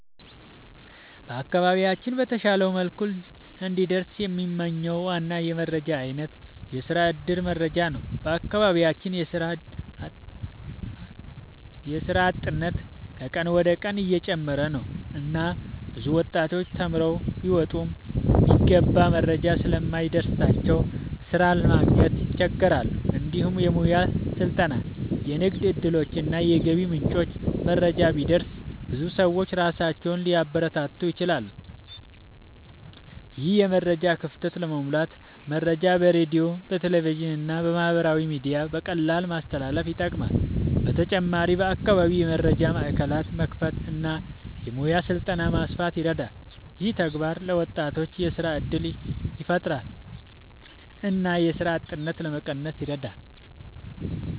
በአካባቢያችን በተሻለ መልኩ እንዲደርስ የምንመኝው ዋና የመረጃ አይነት የስራ እድል መረጃ ነው። በአካባቢያችን የስራ አጥነት ከቀን ወደ ቀን እየጨመረ ነው እና ብዙ ወጣቶች ተማርተው ቢወጡም የሚገባ መረጃ ስለማይደርስላቸው ስራ ማግኘት ይቸገራሉ። እንዲሁም የሙያ ስልጠና፣ የንግድ እድሎች እና የገቢ ምንጮች መረጃ ቢደርስ ብዙ ሰዎች ራሳቸውን ሊያበረታቱ ይችላሉ። ይህን የመረጃ ክፍተት ለመሙላት መረጃ በሬዲዮ፣ በቴሌቪዥን እና በማህበራዊ ሚዲያ በቀላሉ ማስተላለፍ ይጠቅማል። በተጨማሪም በአካባቢ የመረጃ ማዕከላት መክፈት እና የሙያ ስልጠና ማስፋት ይረዳል። ይህ ተግባር ለወጣቶች የስራ እድል ያፈጥራል እና የስራ አጥነትን ለመቀነስ ይረዳል።